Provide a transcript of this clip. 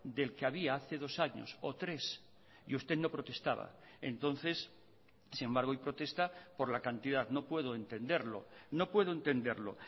del que había hace dos años o tres y usted no protestaba entonces sin embargo hoy protesta por la cantidad no puedo entenderlo no puedo entenderlo